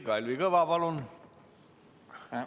Kalvi Kõva, palun!